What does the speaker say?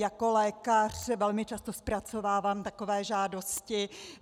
Jako lékař velmi často zpracovávám takové žádosti.